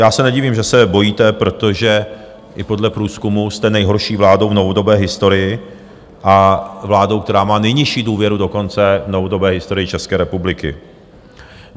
Já se nedivím, že se bojíte, protože i podle průzkumu jste nejhorší vládou v novodobé historii a vládou, která má nejnižší důvěru dokonce v novodobé historii České republiky.